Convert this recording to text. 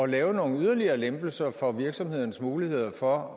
lave nogle yderligere lempelser for virksomhedernes muligheder for